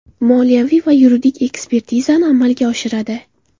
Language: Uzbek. Moliyaviy va yuridik ekspertizasini amalga oshiradi.